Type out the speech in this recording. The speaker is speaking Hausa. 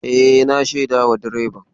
E, na shaidawa direban.